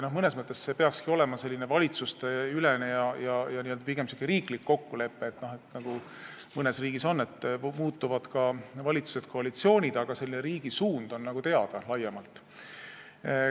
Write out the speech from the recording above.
Mõnes mõttes see peakski olema selline valitsusteülene ja pigem niisugune riiklik kokkulepe, nagu mõnes riigis on, et valitsuskoalitsioonid muutuvad, aga selle riigi suund on laiemalt teada.